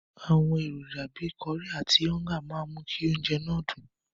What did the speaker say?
Àwọn èròjà bíi kọrí àti ọ́ńgà máa mú kí oúnjẹ náà dùn.